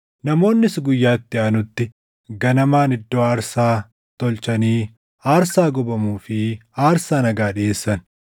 Namoonnis guyyaa itti aanutti ganamaan iddoo aarsaa tolchanii aarsaa gubamuu fi aarsaa nagaa dhiʼeessan.